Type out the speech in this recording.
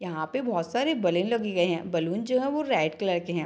यहां पे बोहत सारे बलेन लगे गए है बलून जो है वो रेड कलर के है।